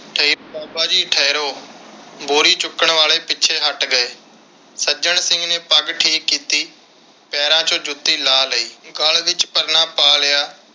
ਠਹਿਰੋ ਬਾਬਾ ਜੀ ਠਹਿਰੋ। ਬੋਰੀ ਚੁੱਕਣ ਵਾਲੇ ਪਿੱਛੇ ਹਟ ਗਏ। ਸੱਜਣ ਸਿੰਘ ਨੇ ਪੱਗ ਠੀਕ ਕੀਤੀ, ਪੈਰਾਂ ਵਿਚੋਂ ਜੁੱਤੀ ਲਾਹ ਲਈ ਤੇ ਗਲ ਵਿਚ ਪਰਨਾ ਪਾ ਲਿਆ